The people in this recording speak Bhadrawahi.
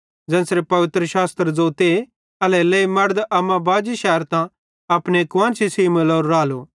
ज़ेन्च़रे पवित्रशास्त्र ज़ोते एल्हेरेलेइ मड़द अम्मा बाजी शैरतां अपने कुआन्शी सेइं मिलोरो रालो